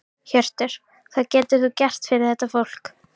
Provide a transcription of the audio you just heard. Hjörtur: Hvað getur þú gert fyrir þetta fólk?